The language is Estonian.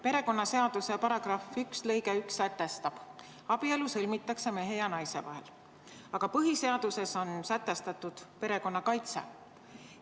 Perekonnaseaduse § 1 lõige 1 sätestab, et abielu sõlmitakse mehe ja naise vahel, aga põhiseaduses on sätestatud perekonna kaitse.